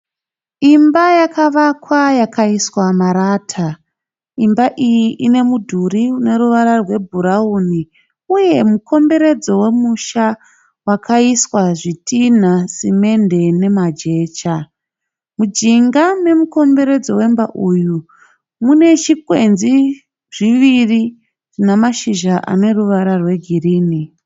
Imba yakavakwa yakaiswa marata. Imba iyi ine mudhuri uneruvara rwebhurawuni, uye mukomberedzo wemusha wakaiswa zvitinha, simende nemajecha. Mujinga memukomberedzo wemba uyu, mune chigwenzi zviviri zvinashizha aneruvara rwegirinhi.